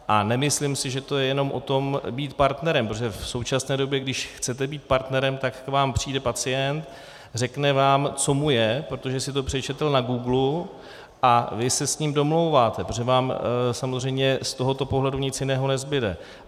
A nemyslím si, že to je jenom o tom být partnerem, protože v současné době když chcete být partnerem, tak k vám přijde pacient, řekne vám, co mu je, protože si to přečetl na Googlu, a vy se s ním domlouváte, protože vám samozřejmě z tohoto pohledu nic jiného nezbude.